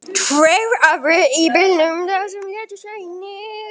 Tveir aðrir voru í bílnum, en þeir létust einnig.